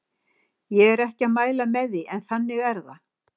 Ég er ekki að mæla með því, en þannig er það.